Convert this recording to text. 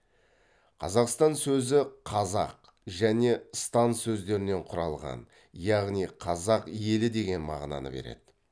қазақстан сөзі қазақ және стан сөздерінен құралған яғни қазақ елі деген мағына береді